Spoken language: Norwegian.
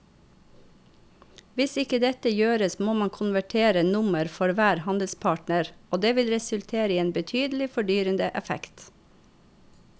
Hvis ikke dette gjøres må man konvertere nummer for hver handelspartner og det vil resultere i en betydelig fordyrende effekt.